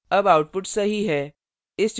अब output सही है